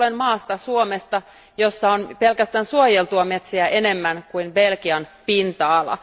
Tulen maasta, Suomesta, jossa on pelkästään suojeltuja metsiä enemmän kuin Belgian pinta ala.